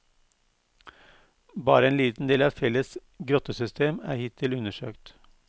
Bare en liten del av fjellets grottesystem er hittil undersøkt.